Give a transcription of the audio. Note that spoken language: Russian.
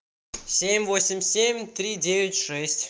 семь восемь семь три девять шесть